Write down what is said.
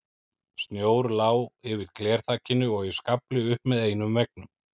Snjór lá yfir glerþakinu og í skafli upp með einum veggnum.